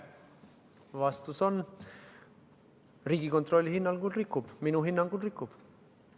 Vastus on: Riigikontrolli hinnangul rikub, minu hinnangul rikub.